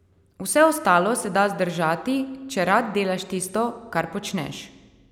Vse ostalo se da zdržati, če rad delaš tisto, kar počneš.